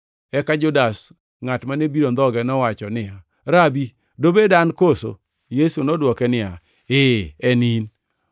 Eka Judas, ngʼat mane biro ndhoge nowacho niya, “Rabi, dobed an koso?” Yesu nodwoko niya, “Ee, en in.”